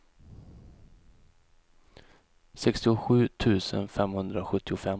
sextiosju tusen femhundrasjuttiofem